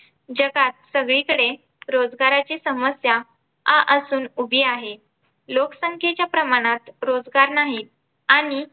जगात सगळीकडे रोजगाराची समस्या आ असून उभी आहे. लोकसंख्येच्या प्रमाणात रोजगार नाही. आणि